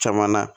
Caman na